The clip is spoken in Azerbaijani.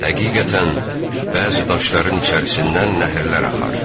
Həqiqətən, bəzi daşların içərisindən nəhrlər axar.